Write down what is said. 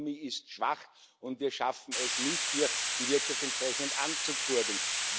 Die Ökonomie ist schwach, und wir schaffen es nicht, hier die Wirtschaft entsprechend anzukurbeln.